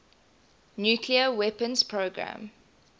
nuclear weapons program